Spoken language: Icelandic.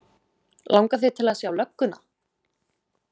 Langar þig til að sjá lögguna?